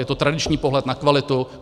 Je to tradiční pohled na kvalitu.